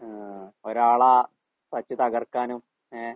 ആഹ് ഒരാളെ വച്ച് തകർക്കാനും ഏഹ്